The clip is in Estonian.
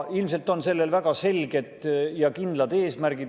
Ilmselt on sellel väga selged ja kindlad eesmärgid.